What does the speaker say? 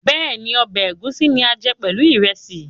Bẹ́ẹ̀ni, ọbẹ̀ ẹ̀gúsí ni a ń jẹ pẹ̀lú ìrẹsì